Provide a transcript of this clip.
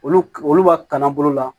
Olu olu ka kalan bolo la